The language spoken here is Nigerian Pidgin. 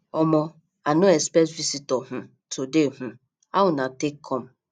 omo i no expect visitor um today um how una take come